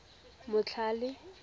motlhale